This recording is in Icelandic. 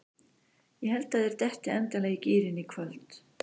Ég held að þeir detti endanlega í gírinn í kvöld.